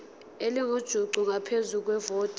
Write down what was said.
elingujuqu ngaphezu kwevoti